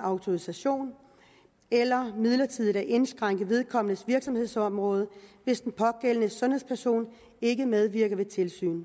autorisation eller midlertidigt at indskrænke vedkommendes virksomhedsområde hvis den pågældende sundhedsperson ikke medvirker ved tilsyn